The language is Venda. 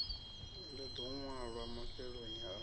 ḽi ḓo ṅwalwa mafheloni a